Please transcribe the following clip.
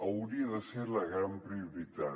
hauria de ser la gran prioritat